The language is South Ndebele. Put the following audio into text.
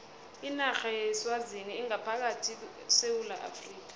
inarha yeswazini ingaphakathi kwesewula afrika